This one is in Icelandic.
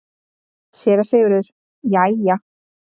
SÉRA SIGURÐUR: Jæja!